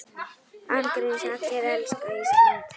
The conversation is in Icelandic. Án gríns, allir elska Ísland.